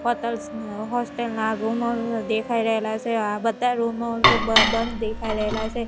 Hotels hostel ના રૂમો દેખાય રેલા છે આ બધા રૂમો બ બંધ દેખાય રેલા છે.